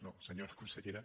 no senyora consellera